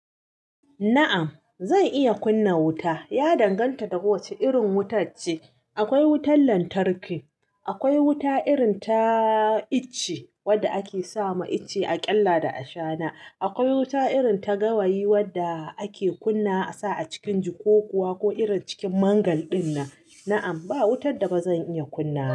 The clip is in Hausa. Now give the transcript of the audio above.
Na'am. Zan iya kunna wuta. Ya danganta da kowace irin wutar ce. Akwai wutar lantarki, akwai wuta irin ta icce wadda ake sawa icce a ƙyalla da a shana. Akwai wuta irin ta gawayi wadda ake kunna saba a cikin jikokuwa ko irin cikin mangal dinnan. Na'am, ba wutar da ba zan iya kunna ba.